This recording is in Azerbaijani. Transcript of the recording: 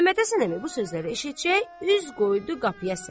Məmmədhəsən əmi bu sözləri eşitcək üz qoydu qapıya sən.